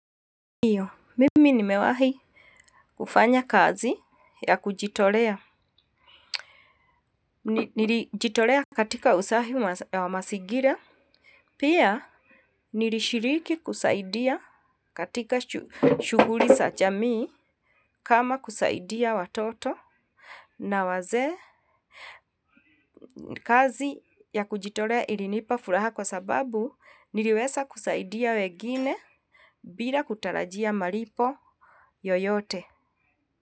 Ndiyo, mimi nimewahi kufanya kazi ya kujitolea, nilijitolea katika usafi wa masigira, pia nilishiriki kusaidia katika shuguli sa jamii kama kusaidia watoto na wazee kazi ya kujitolea ilinipa furaha kwa sababu niliwesa kusaidia wegine bila kutarajia malipo yoyote.